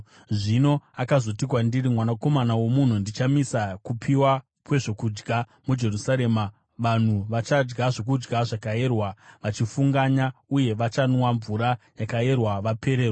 Zvino akazoti kwandiri, “Mwanakomana womunhu, ndichamisa kupiwa kwezvokudya muJerusarema. Vanhu vachadya zvokudya zvakayerwa vachifunganya uye vachanwa mvura yakayerwa vapererwa,